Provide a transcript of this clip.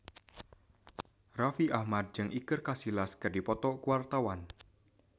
Raffi Ahmad jeung Iker Casillas keur dipoto ku wartawan